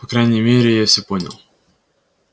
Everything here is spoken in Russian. по крайней мере я всё понял